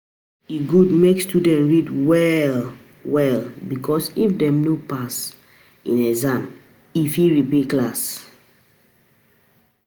E good make student read well well because If dem no pass no pass in exams in fit repeat class